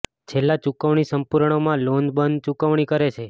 છેલ્લા ચુકવણી સંપૂર્ણ માં લોન બંધ ચૂકવણી કરે છે